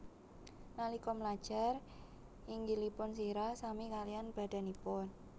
Nalika mlajar nginggilipun sirah sami kaliyan badanipun